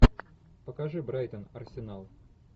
покажи брайтон арсенал